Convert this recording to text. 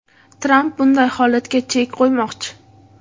Tramp bunday holatga chek qo‘ymoqchi.